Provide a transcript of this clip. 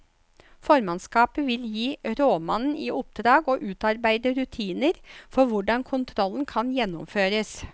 Formannskapet vil gi rådmannen i oppdrag å utarbeide rutiner for hvordan kontrollen kan gjennomføres.